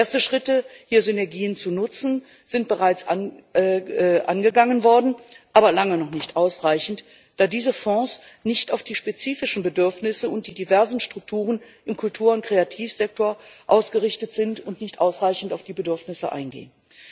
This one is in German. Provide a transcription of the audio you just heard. Erste Schritte, hier Synergien zu nutzen, sind bereits angegangen worden, aber lange noch nicht ausreichend, da diese Fonds nicht auf die spezifischen Bedürfnisse und die diversen Strukturen im Kultur und Kreativsektor ausgerichtet sind und nicht ausreichend auf die Bedürfnisse eingehen.